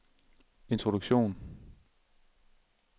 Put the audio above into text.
introduktion